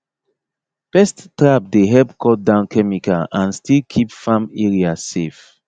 pest trap dey help cut down chemical and still keep farm area safe